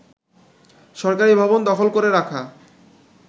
সরকারি ভবন দখল করে রাখা